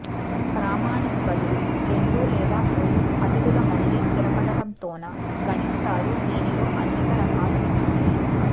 ప్రామాణిక గదులు రెండు లేదా మూడు అతిథులు మళ్లీ స్థిరపడటంతో న గణిస్తారు దీనిలో అనేక రకాలు ఉన్నాయి